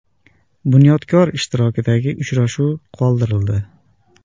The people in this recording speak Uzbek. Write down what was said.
“Bunyodkor” ishtirokidagi uchrashuv qoldirildi.